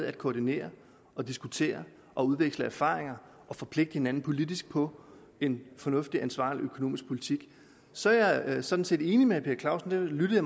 at koordinere og diskutere og udveksle erfaringer og forpligte hinanden politisk på en fornuftig og ansvarlig økonomisk politik så er jeg sådan set enig med herre per clausen i det lyttede